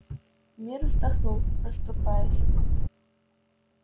мир вздохнул расступаясь